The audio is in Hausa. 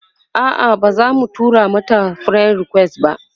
a'a bazamu tura mata friend request ba